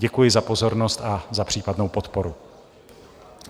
Děkuji za pozornost a za případnou podporu.